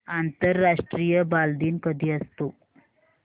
आंतरराष्ट्रीय बालदिन कधी असतो